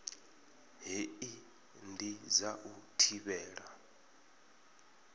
hei ndi dza u thivhela